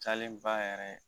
Cayalen ba yɛrɛ